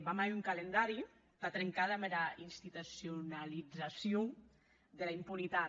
vam a hèr un calendari entà trencar damb era institucionalizacion dera impunitat